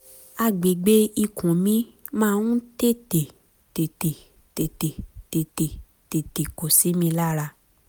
àgbègbè ikùn mi máa ń tètè tètè tètè tètè tètè tètè tètè kó sí mi lára